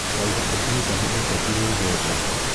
Raila Odinga nĩ mũteti wĩ igweta.